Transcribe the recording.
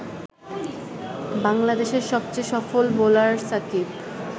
বাংলাদেশের সবচেয়ে সফল বোলার সাকিব